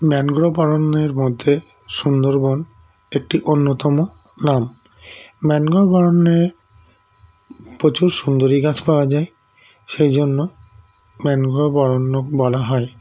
Mangrove অরণ্যের মধ্যে সুন্দরবন একটি অন্যতম নাম Mangrove অরণ্যে প্রচুর সুন্দরী গাছ পাওয়া যায় সেইজন্য Mangrove অরণ্য বলা হয়